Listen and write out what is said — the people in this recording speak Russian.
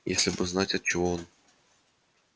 если бы знать от чего он